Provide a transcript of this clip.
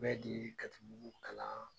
di katibugu kalan